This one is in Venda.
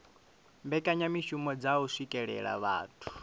mbekanyamishumo dza u swikelela vhathu